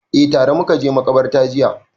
Eh, tare muka je maƙabarta jiya